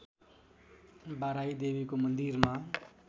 बाराही देवीको मन्दिरमा